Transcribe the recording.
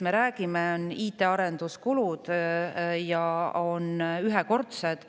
Me räägime IT-arenduste kulust, summadest, mis on ühekordsed.